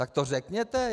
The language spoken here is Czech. Tak to řekněte!